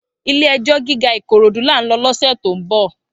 Ilé èjò gigá Ikorodu lá n lò lòsè tó n bò